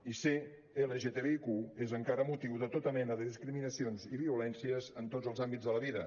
i ser lgtbiq és encara motiu de tota mena de discriminacions i violències en tots els àmbits de la vida